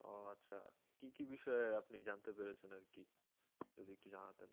ও আচ্ছা কি কি বিষয় আপনি জানতে পেরেছেন আর কি যদি একটু জানাতেন